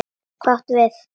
Hvað átum við?